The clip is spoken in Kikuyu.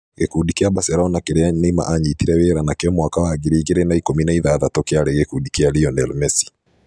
Gĩkundi kĩa Barcelona kĩrĩa Neymar aanyitire wĩra nakĩo mwaka wa ngiri igĩrĩ na ikũmi na ithathatũ kĩarĩ gĩkundi kĩa Lionel Messi.